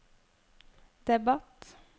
debatt